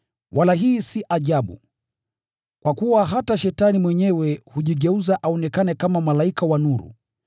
Wala hii si ajabu, kwa kuwa hata Shetani mwenyewe hujigeuza aonekane kama malaika wa nuru.